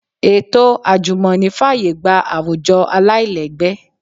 Ètò àjùmọ̀ní fàyè gba àwùjọ aláìlẹ́gbẹ́